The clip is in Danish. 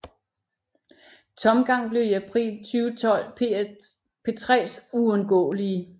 Tomgang blev i april 2012 P3s uundgåelige